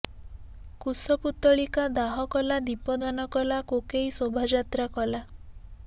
କୁଶପୁତ୍ତଳିକା ଦାହ କଲା ଦୀପଦାନ କଲା କୋକେଇ ଶୋଭା ଯାତ୍ରା କଲା